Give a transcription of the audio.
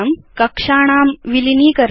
कक्षाणां विलीनीकरणम्